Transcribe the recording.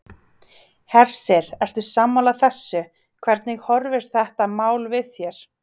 Hersir: Ertu sammála þessu, hvernig horfir þetta mál við þér?